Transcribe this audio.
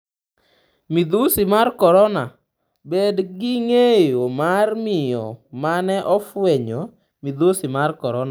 Midhusi mar korona: Bed ging'eyo mar miyo mane ofwenyo midhusi mar korona